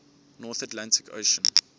north atlantic ocean